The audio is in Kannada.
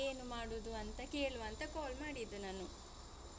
ಹೇಗೆ ಏನು ಮಾಡುದು ಅಂತ ಕೇಳುವ ಅಂತ call ಮಾಡಿದ್ದು ನಾನು.